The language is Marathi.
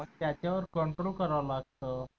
त्याच्यावर control करावलागत